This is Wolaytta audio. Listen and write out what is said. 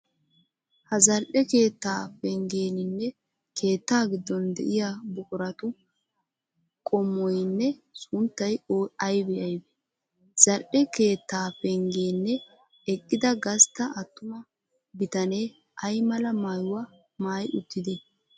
Ha zal'e keetta pengeeninne keetta giddon di'iyaa buquratu qommoyinne sunttay aybee aybee? Zal'e keettaa penggene eqqida gastta attuma bitanee ay mala maayuwaa maayi uttidee?